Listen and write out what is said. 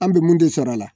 An bɛ mun de sɔrɔ a la